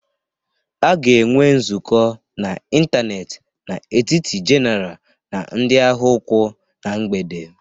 A ga-enwe nzukọ n'ịntanetị n'etiti General na ndị agha ụkwụ na mgbede